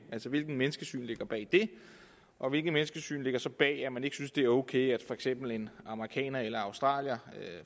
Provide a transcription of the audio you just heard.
hvilket menneskesyn ligger bag det og hvilket menneskesyn ligger så bag at man ikke synes det er ok at for eksempel en amerikaner eller en australier